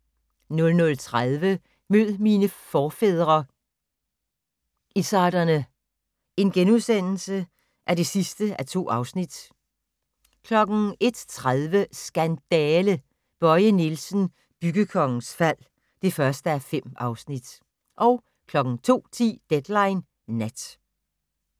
00:30: Mød mine forfædre - izzarderne (2:2)* 01:30: Skandale! - Bøje Nielsen, byggekongens fald (1:5) 02:10: Deadline Nat